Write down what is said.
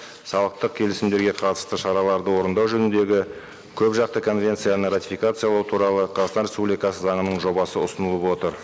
салықтық келісімдерге қатысты шараларды орындау жөніндегі көп жақты конвенцияны ратификациялау туралы қазақстан республикасы заңының жобасы ұсынылып отыр